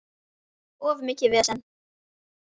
Of mikið vesen.